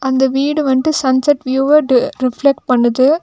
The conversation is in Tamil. இந்த வீடு வந்ட்டு சன்செட் வியெவ்வட்டு டு ரிஃப்லெக்ட் பண்ணுது.